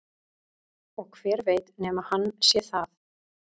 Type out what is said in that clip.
Og hver veit nema hann sé það?